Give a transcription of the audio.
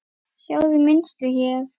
Sjáiði mynstur hérna?